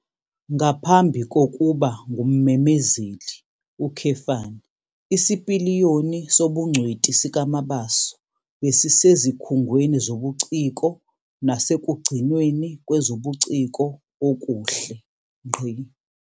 Ngaphambi kokuba ngummemezeli, isipiliyoni sobungcweti sikaMabaso besisezikhungweni zobuciko nasekugcinweni kwezobuciko okuhle.